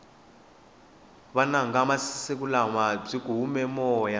vunanga bya masiku lawa byi hume moya